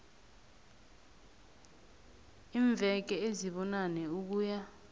iimveke ezibunane ukuya